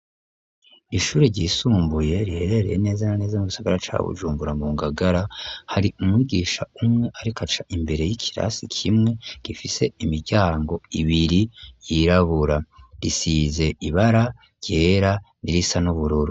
Ishuri ryisumbuye riherereye neza na neza mu gisagara ca Bujumbura mu ngagara hari umwigisha umwe ariko aca imbere y'ikirasi kimwe gifise imiryango ibiri yirabura risize ibara ryera n'irisa n'ubururu.